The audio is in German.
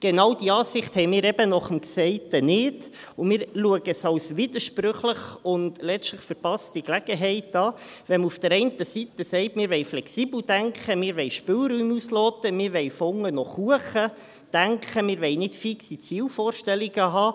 Genau diese Ansicht haben wir eben nach dem Gesagten nicht, und wir erachten es als widersprüchlich und letztlich als eine verpasste Gelegenheit, wenn man auf der einen Seite sagt, wir wollen flexibel denken, wir wollen Spielräume ausloten, wir wollen von unten nach oben denken, wir wollen keine fixe Zielvorstellungen haben.